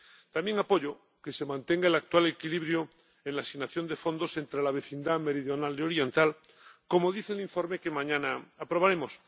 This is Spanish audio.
También apoyo que se mantenga el actual equilibrio en la asignación de fondos entre la vecindad meridional y oriental, como dice el informe que mañana aprobaremos.